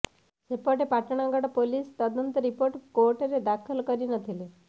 ସେପଟେ ପାଟଣାଗଡ଼ ପୁଲିସ୍ ତଦନ୍ତ ରିପୋର୍ଟ କୋର୍ଟରେ ଦାଖଲ କରିନଥିଲେ